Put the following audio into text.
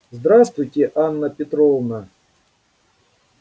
здравствуйте анна петровна